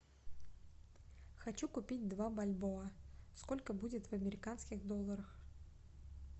хочу купить два бальбоа сколько будет в американских долларах